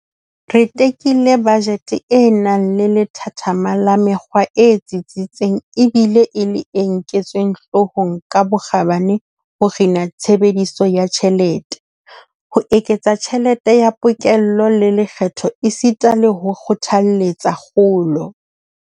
Re tekile bajete e nang le lethathama la mekgwa e tsitsitseng ebile e le e nketsweng hloohong ka bokgabane ho kgina tshebediso ya tjhelete, ho eketsa tjhelete ya pokello ya lekgetho esita le ho kgothaletsa kgolo.